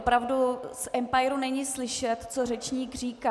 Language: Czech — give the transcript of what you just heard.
Opravdu z empiru není slyšet, co řečník říká.